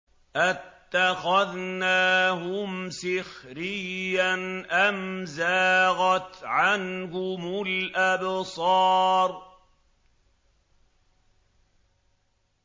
أَتَّخَذْنَاهُمْ سِخْرِيًّا أَمْ زَاغَتْ عَنْهُمُ الْأَبْصَارُ